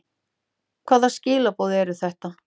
Hvaða skilaboð eru þetta?